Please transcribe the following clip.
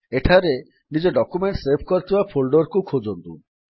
ଏଠାରେ ନିଜ document save କରିଥିବା ଫୋଲ୍ଡର୍ କୁ ଖୋଜନ୍ତୁ